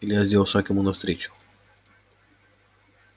илья сделал шаг ему навстречу